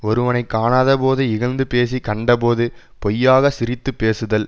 ஒருவனை காணாதபோது இகழ்ந்து பேசி கண்டபோது பொய்யாகச் சிரித்து பேசுதல்